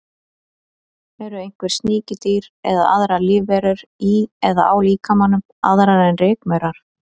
Eru einhver sníkjudýr eða aðrar lífverur í eða á líkamanum, aðrar en rykmaurar?